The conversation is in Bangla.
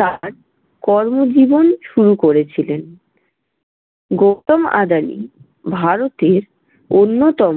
তার কর্মজীবন শুরু করেছিলেন। গৌতম আদানি ভারতের অন্যতম